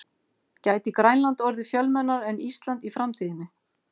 Gæti Grænland orðið fjölmennara en Ísland í framtíðinni?